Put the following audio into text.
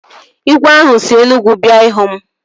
Igwe ahụ si Enugwu bịa ịhụ m